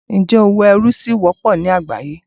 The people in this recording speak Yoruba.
Ǹjẹ́ òwò ẹrú ṣí wọ́pọ̀ ní àgbáyé?